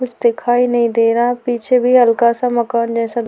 कुछ दिखाई नहीं दे रहा पीछे भी हल्का सा मकान जैसा --